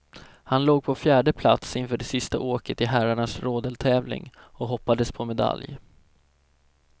Han låg på fjärde plats inför det sista åket i herrarnas rodeltävling och hoppades på medalj.